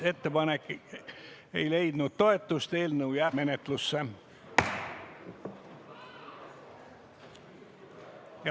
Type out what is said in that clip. Ettepanek ei leidnud toetust, eelnõu jääb menetlusse.